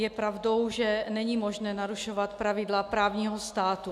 Je pravdou, že není možné narušovat pravidla právního státu.